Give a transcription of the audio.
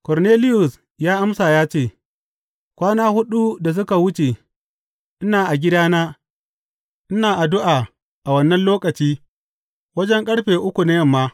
Korneliyus ya amsa ya ce, Kwana huɗu da suka wuce ina a gidana ina addu’a a wannan lokaci, wajen ƙarfe uku na yamma.